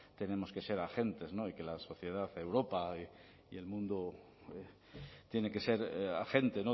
tenemos que ser agentes y que la sociedad europa y el mundo tiene que ser agente